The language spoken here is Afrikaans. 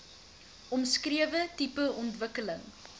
omskrewe tipe ontwikkeling